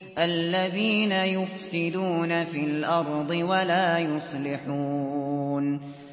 الَّذِينَ يُفْسِدُونَ فِي الْأَرْضِ وَلَا يُصْلِحُونَ